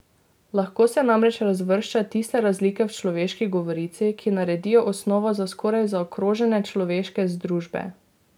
Lahko se namreč razvršča tiste razlike v človeški govorici, ki naredijo osnovo za skoraj zaokrožene človeške združbe.